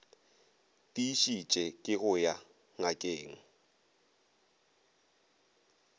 tiišetše ke go ya ngakeng